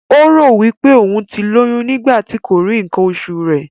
Ó rò wí pé òún ti lóyún nígbà tí kò rí ǹǹkan osù rẹ.